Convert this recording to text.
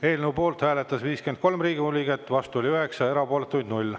Eelnõu poolt hääletas 53 Riigikogu liiget, vastu oli 9 ja erapooletuid 0.